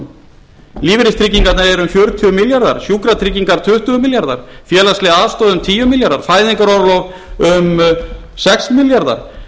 tekjutilfærslunum lífeyristryggingarnar eru um fjörutíu milljarðar sjúkratryggingar tuttugu milljarðar félagsleg aðstoð um tíu milljarðar fæðingarorlof um sex milljarðar